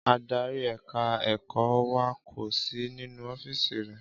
Ádárì ẹ̀ka ẹ̀kọ́ wa kò sì nínú ọ́fíìsì rẹ̀